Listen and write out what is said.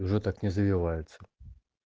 уже так не завиваются